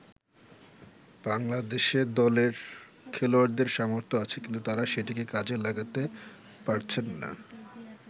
বাংলাদেশে দলের খেলোয়াড়দের সামর্থ্য আছে কিন্তু তারা সেটিকে কাজে লাগাতে পারছেন না।